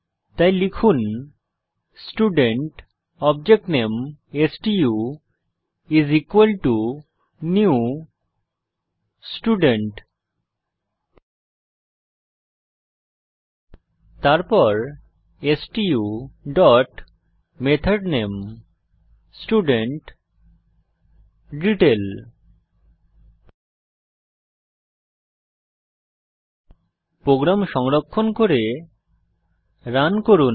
তাই লিখুন student object name stu is equal to new student তারপর stu dot method name student detail program সংরক্ষণ করে রান করুন